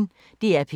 DR P1